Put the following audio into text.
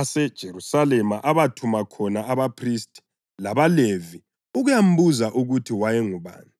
aseJerusalema abathuma khona abaphristi labaLevi ukuyambuza ukuthi wayengubani.